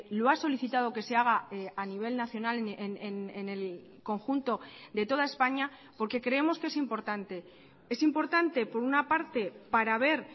lo ha solicitado que se haga a nivel nacional en el conjunto de toda españa porque creemos que es importante es importante por una parte para ver